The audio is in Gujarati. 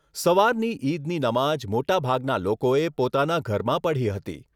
સવારની ઈદની નમાજ મોટાભાગના લોકોએ પોતાના ઘરમાં પઢી હતી.